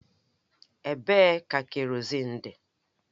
Ebee ka kerọzin dị?